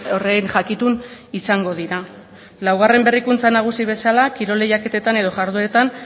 horren jakitun izango dira laugarren berrikuntza nagusi bezala kirol lehiaketetan edo jardueretan